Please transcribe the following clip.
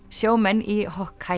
sjómenn í